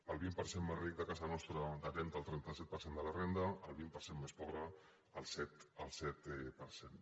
el vint per cent més ric de casa nostra té el trenta set per cent de la renda el vint per cent més pobre el set per cent